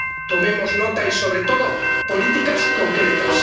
Tomemos nota y hagamos, sobre todo, políticas concretas.